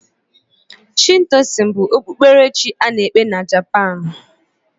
Shintoizm bụ okpukperechi a na-ekpe na Japaanu.